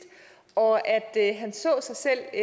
og at at han så sig selv